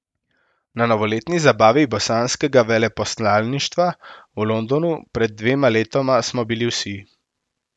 Na novoletni zabavi bosanskega veleposlaništva v Londonu pred dvema letoma smo bili vsi.